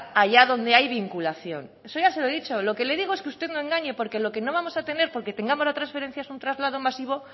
allá donde hay vinculación eso ya se lo he dicho lo que le digo es que usted no engañe porque lo que no vamos a tener porque tengamos la transferencia es un traslado masivo